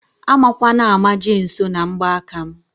A makwana ama jee nsọ na ngba aka m